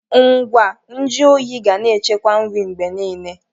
Ngwa nju oyi ga na echekwa nri mgbe niile.